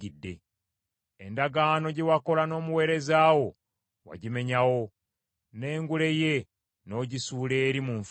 Endagaano gye wakola n’omuweereza wo wagimenyawo, n’engule ye n’ogisuula eri mu nfuufu.